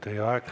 Teie aeg!